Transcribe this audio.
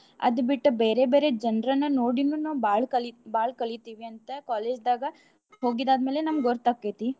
ಅದ್ ಬಿಟ್ಟ ಬೇರೆ ಬೇರೇ ಜನ್ರನ್ನ ನೋಡಿನೂ ನಾವ್ ಬಾಳ್ ಕಲಿ~ ಬಾಳ್ ಕಲಿತಿವಂತ college ದಾಗ ಹೋಗಿದ್ ಆದ್ ಮೇಲೆ ನಮ್ಗ ಗೊತ್ತ್ ಆಕೆತ್ತಿ.